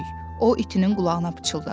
O itinin qulağına pıçıldadı.